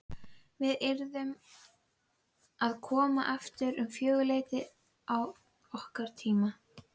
Við yrðum að koma aftur um fjögurleytið að okkar tíma.